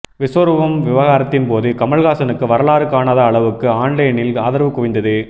விஸ்வரூபம் விவகாரத்தின்போது கமல்ஹாசனுக்கு வரலாறு காணாத அளவுக்கு ஆன்லைனில் ஆதரவு குவிந்தது